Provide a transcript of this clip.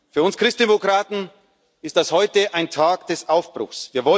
Für uns Christdemokraten ist das heute ein Tag des Aufbruchs.